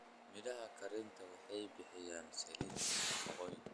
Midhaha kharinta waxay bixiyaan saliid leh nafaqooyin.